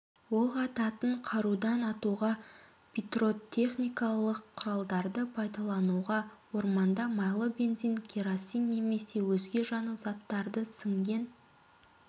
оқ ататын қарудан атуға пиротехникалық құралдарды пайдалануға орманда майлы бензин керосин немесе өзге жану заттары сіңген